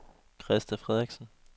Krista Frederiksen